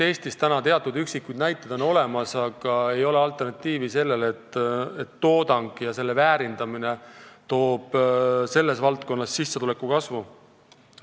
Eestis on üksikud näited olemas, aga selle valdkonna toodang ja selle väärindamine ei too sissetuleku kasvu.